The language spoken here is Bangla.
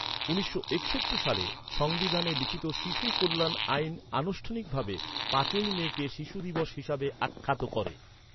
উনিশশো একষট্টি সালে সংবিধানে লিখিত শিশু কল্যাণ আইন আনুষ্ঠানিকভাবে পাঁচই মে কে শিশু দিবস হিসাবে আখ্যাত করে।